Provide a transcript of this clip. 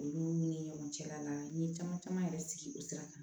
Olu ni ɲɔgɔn cɛla n'a ye caman caman yɛrɛ sigi o sira kan